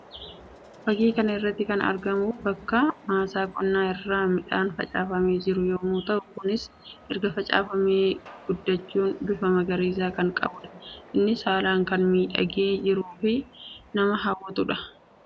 Fakkii kana irratti kan argamu bakka maasaa qonnaa irraa midhaan facaafamee jiru yammuu ta'u; kunis erga facaafamee guddachuun bifa magariisaa kan qabuu dha. Innis haalaan kan miidhagaa jiruu fi nama hawwatuu dha.